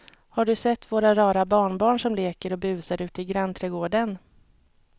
Har du sett våra rara barnbarn som leker och busar ute i grannträdgården!